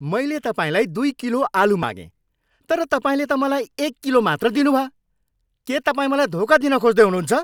मैले तपाईँलाई दुई किलो आलु मागेँ तर तपाईँले त मलाई एक किलो मात्र दिनुभयो! के तपाईँ मलाई धोका दिन खोज्दै हुनुहुन्छ?